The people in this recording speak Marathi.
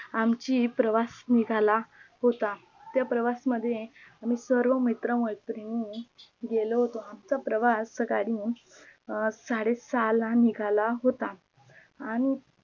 आमचा प्रवास निघाला होता त्या प्रवासा मध्ये आम्ही सर्व मित्र मैत्रिणी गेलो होतो आमचा प्रवास साकाडी साडे सहाला निघाला होता. आणि